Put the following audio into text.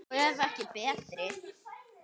Og ef ekki betri!